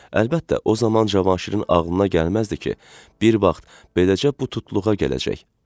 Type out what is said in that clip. Əlbəttə, o zaman Cavanşirin ağlına gəlməzdi ki, bir vaxt beləcə bu tutluğa gələcək.